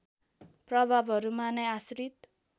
प्रभावहरूमा नै आश्रित